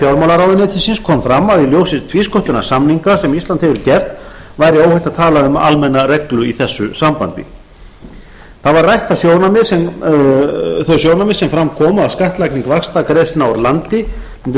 fjármálaráðuneytisins kom fram að í ljósi tvísköttunarsamninga sem ísland hefur gert væri óhætt að tala um almenna reglu í þessu sambandi rædd voru þau sjónarmið sem fram komu að skattlagning vaxtagreiðslna úr landi mundi